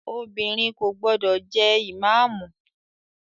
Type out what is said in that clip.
Obìnrin kò gbọdọ̀ jẹ ìmáàmù!